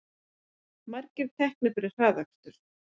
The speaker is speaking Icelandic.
Margir teknir fyrir hraðakstur